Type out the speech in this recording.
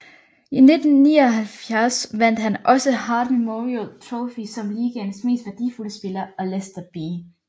I 1999 vandt han også Hart Memorial Trophy som ligaens mest værdifulde spiller og Lester B